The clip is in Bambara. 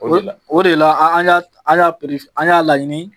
O de la ,an y'a laɲini